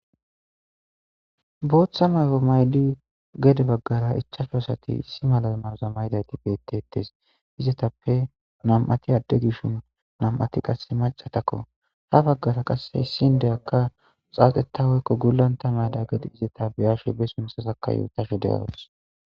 Booththa may7o maydi gede baggara ichashu asati issi mala mawoza maydayti beettettes. Izetappe nam7ati adde gidishin nam7ati qasse macatakko ha baggara qasse issi inddeyakka xaaxeta woykko gulanta mayda gedi izeta be7ashe be sunthasaka yuutashe de7awus.